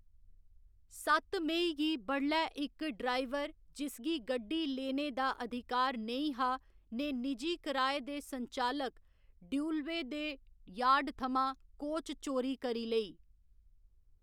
सत्त मेई गी बडलै इक ड्राइवर जिसगी गड्डी लेने दा अधिकार नेईं हा, ने निजी किराए दे संचालक ड्यूलवे दे यार्ड थमां कोच चोरी करी लेई।